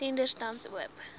tenders tans oop